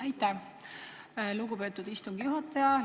Aitäh, lugupeetud istungi juhataja!